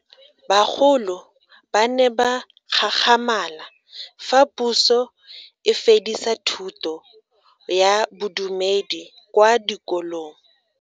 Bagolo ba ne ba gakgamala fa Puso e fedisa thuto ya Bodumedi kwa dikolong.